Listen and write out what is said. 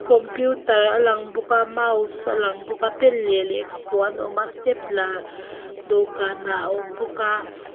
computer a lang bawk a mouse a lang bawk a pen leh lehkhapuan a awm a stapler dawhkanah a awm bawk a.